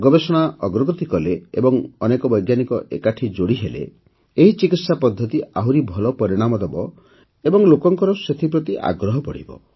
ଗବେଷଣା ଅଗ୍ରଗତି କଲେ ଏବଂ ଅନେକ ବୈଜ୍ଞାନିକ ଏକାଠି ଯୋଡ଼ିହେଲେ ଏହି ଚିକିତ୍ସା ପଦ୍ଧତି ଆହୁରି ଭଲ ପରିଣାମ ଦେବ ଓ ଲୋକଙ୍କର ସେଥିପ୍ରତି ଆଗ୍ରହ ବଢ଼ିବ